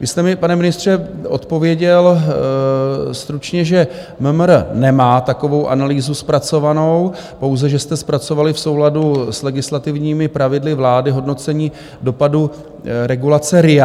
Vy jste mi, pane ministře, odpověděl stručně, že MMR nemá takovou analýzu zpracovanou, pouze že jste zpracovali v souladu s legislativními pravidly vlády hodnocení dopadu regulace RIA.